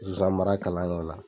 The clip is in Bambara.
Zonzan mara kalanyɔrɔ la